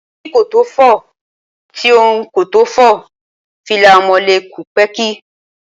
Èyí kò tó fò, ti ọ̀hún kò tó fò, fìlà Amọ̀lé kù pẹ́ẹ́kí